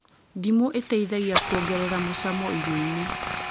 Ndimũ ĩteithagia kuongerera mucamo irio-inĩ